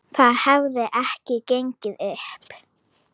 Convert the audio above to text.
Það hefði ekki gengið upp.